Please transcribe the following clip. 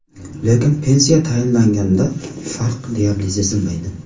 Lekin pensiya tayinlanganda farq deyarli sezilmaydi.